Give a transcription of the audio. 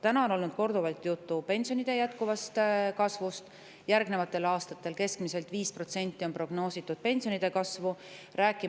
Täna on olnud korduvalt juttu pensionide jätkuvast kasvust, järgnevateks aastateks on pensionide kasvuks prognoositud keskmiselt 5%.